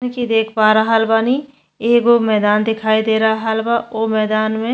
जइसन की दिख पा रहल बानी एगो मैदान दिखाई दे रहल बा ओ मैदान में --